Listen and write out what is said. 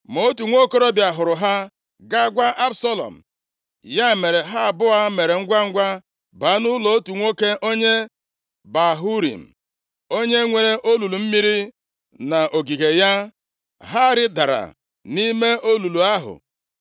Ma otu nwokorobịa hụrụ ha gaa gwa Absalọm. Ya mere, ha abụọ mere ngwangwa baa nʼụlọ otu nwoke onye Bahurim, onye nwere olulu mmiri nʼogige ya, ha rịdara nʼime olulu ahụ